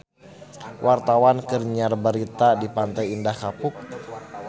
Wartawan keur nyiar berita di Pantai Indah Kapuk